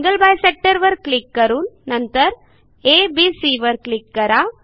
angle bisector वर click करून नंतर abसी वर क्लिक करा